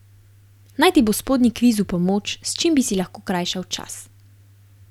Naj ti bo spodnji kviz v pomoč, s čim bi si lahko krajšal čas.